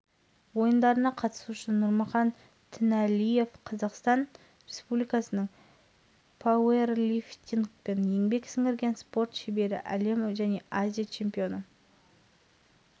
чемпионатының қола жүлдегері жазғы азия ойындарының жеңімпазы әлем және азия чемпионы рио-де-жанейрода өткен жазғы олимпиада